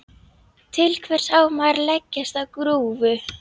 Til hvers á maður að leggjast á grúfu?